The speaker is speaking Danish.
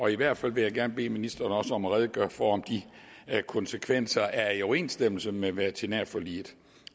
i hvert fald vil jeg gerne bede ministeren om også at redegøre for om de konsekvenser er i overensstemmelse med veterinærforliget